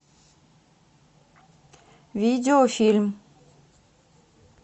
видеофильм